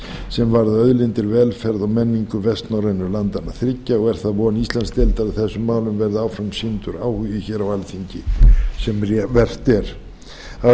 sem varða auðlindir velferð og menningu vestnorrænu landanna þriggja og er það von íslandsdeildar að þessum málum verði áfram sýndur áhugi hér á alþingi sem vert er að